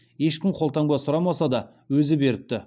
ешкім қолтаңба сұрамаса да өзі беріпті